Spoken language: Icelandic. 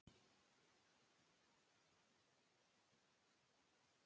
Já, já, það er náttúrlega mjög trúlegt.